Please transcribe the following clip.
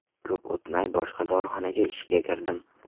Ko‘p o‘tmay boshqa dorixonaga ishga kirdim.